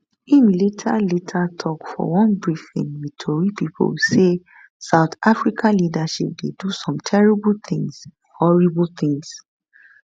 im later later tok for one briefing wit tori pipo say south africa leadership dey do some terrible tins horrible tins